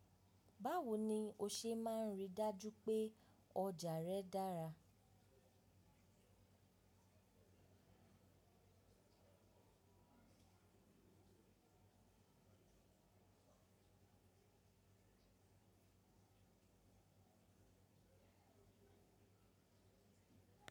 Báwo ni o ṣe máa rí dájú pé ọjà rẹ dára?